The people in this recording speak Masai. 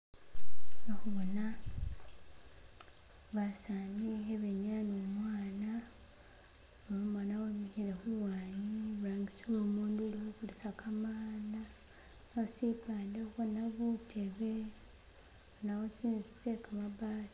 Khakhubona basani khebenyaya ne babana umwana wemikhike khulwanyi iburangisi womundu ukho kulisa kamanda, khusifani khobona butebe, khubonakho tsi'nzu tse kamabati.